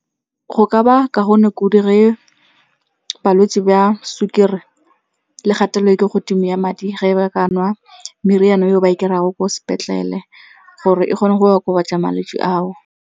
Go ka ba kaone kudu ge balwetse ba sukiri le kgatelelo e kwa godimo ya madi ge ba ka nwa meriana eo ba e kry-a go ko sepetlele gore e kgone go okobatsa malwetse ao.